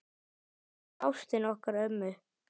Þannig var ástin okkar ömmu.